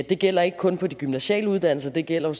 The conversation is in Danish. det gælder ikke kun på de gymnasiale uddannelser det gælder